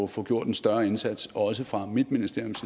få gjort en større indsats også fra mit ministeriums